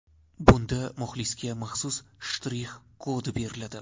Bunda muxlisga maxsus shtrix kod beriladi.